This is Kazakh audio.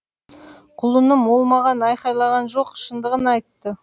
құлыным ол маған айқайлаған жоқ шындығын айтты